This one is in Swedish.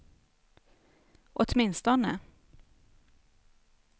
åtminstone